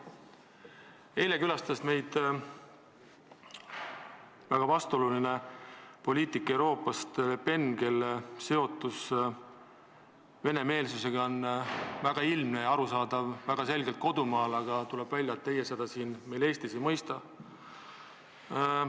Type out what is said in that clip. Eile külastas meid väga vastuoluline poliitik Euroopast Le Pen, kelle seotus venemeelsusega on tema kodumaal väga ilmne ja arusaadav, aga tuleb välja, et teie seda siin Eestis ei mõista.